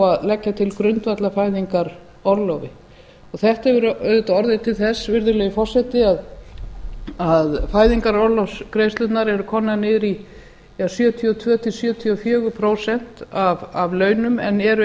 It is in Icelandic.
að leggja til grundvallar fæðingarorlofi þetta hefur auðvitað orðið til þess virðulegi forseti að fæðingarorlofsgreiðslurnar eru komnar niður í sjötíu og tvö til sjötíu og fjögur prósent af launum en eru